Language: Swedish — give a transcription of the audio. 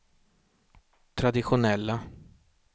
traditionella